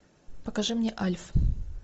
покажи мне альф